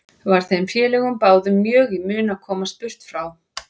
Var þeim félögum báðum mjög í mun að komast burt frá